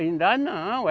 Ainda não.